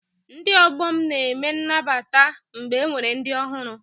Ndị ọgbọ m na-eme N'nabata mgbe enwere ndị ọhụrụ